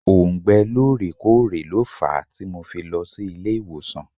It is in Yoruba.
Òùngbẹ lóòrè kóòrè lo fàá tí mo fi lọ sí ilé ìwòsàn.